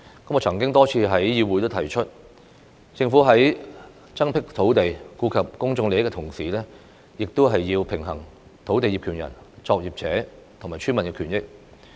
我曾多次在議會上提出，政府在增闢土地、顧及公眾利益的同時，亦必須平衡土地業權人、作業者和村民的權益。